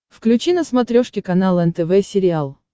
включи на смотрешке канал нтв сериал